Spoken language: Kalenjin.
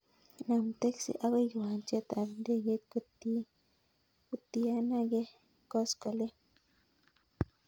Nam taksi agoi kiwanjet ab ndegeit kotienange koskoleng'